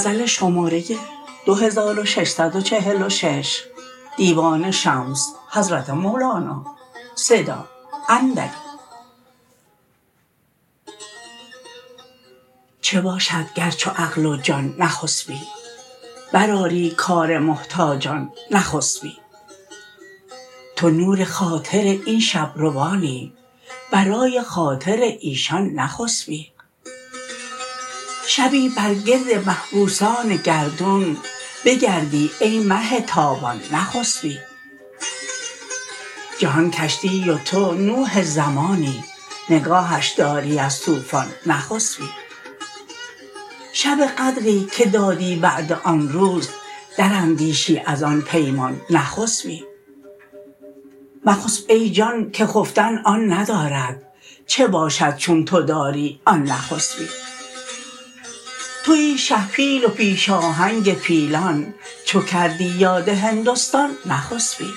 چه باشد گر چو عقل و جان نخسبی برآری کار محتاجان نخسبی تو نور خاطر این شب روانی برای خاطر ایشان نخسبی شبی بر گرد محبوسان گردون بگردی ای مه تابان نخسبی جهان کشتی و تو نوح زمانی نگاهش داری از طوفان نخسبی شب قدری که دادی وعده آن روز دراندیشی از آن پیمان نخسبی مخسب ای جان که خفتن آن ندارد چه باشد چون تو داری آن نخسبی توی شه پیل و پیش آهنگ پیلان چو کردی یاد هندستان نخسبی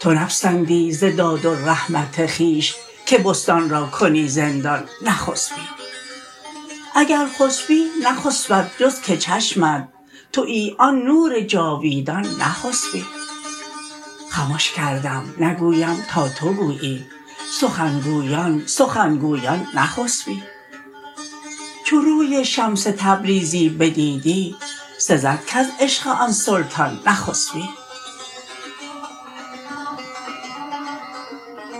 تو نپسندی ز داد و رحمت خویش که بستان را کنی زندان نخسبی اگر خسبی نخسبد جز که چشمت توی آن نور جاویدان نخسبی خمش کردم نگویم تا تو گویی سخن گویان سخن گویان نخسبی چو روی شمس تبریزی بدیدی سزد کز عشق آن سلطان نخسبی